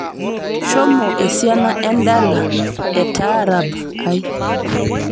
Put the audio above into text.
shomo esiana endala etaarab ai